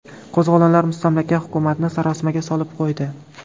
Qo‘zg‘olonlar mustamlaka hukumatni sarosimaga solib qo‘ydi.